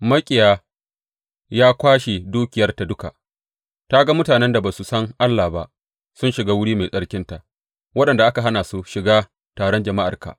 Maƙiya ya kwashe dukiyarta duka; ta ga mutanen da ba su san Allah ba sun shiga wuri mai tsarkinta waɗanda ka hana su shiga taron jama’arka.